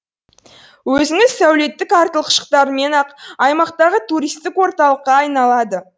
өзінің сәулеттік артықшылықтарымен ақ аймақтағы туристік орталыққа айналады